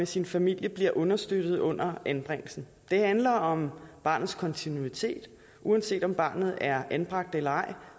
sin familie bliver understøttet under anbringelsen det handler om barnets kontinuitet uanset om barnet er anbragt eller ej